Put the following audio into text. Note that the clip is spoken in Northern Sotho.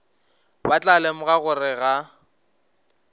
ba tla lemoga gore ga